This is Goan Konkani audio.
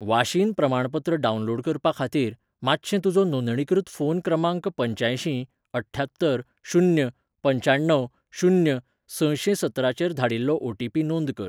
वाशीन प्रमाणपत्र डावनलोड करपा खातीर, मातशें तुजो नोंदणीकृत फोन क्रमांक पंच्यांयशीं अठ्ठ्यात्तर शून्य पंच्याण्णव शून्य सशें सतराचेर धाडिल्लो ओटीपी नोंद कर.